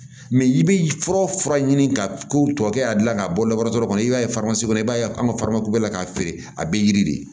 i bɛ fura ɲini ka ko tɔ kɛ a dilan ka bɔ kɔnɔ i b'a ye kɔnɔ i b'a ye an ka bɛ la k'a feere a bɛ yiri de